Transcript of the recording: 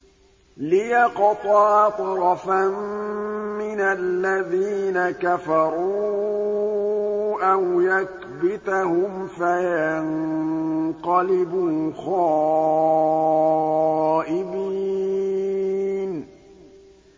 لِيَقْطَعَ طَرَفًا مِّنَ الَّذِينَ كَفَرُوا أَوْ يَكْبِتَهُمْ فَيَنقَلِبُوا خَائِبِينَ